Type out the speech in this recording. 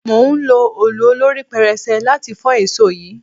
Mò ń lo òòlù olorí pẹrẹsẹ láti fọ́ èsò yìí.